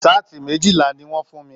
Saati méjìlá ní wọn fún mí.